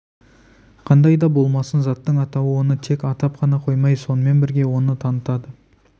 қандай да болмасын заттың атауы оны тек атап қана қоймай сонымен бірге оны танытады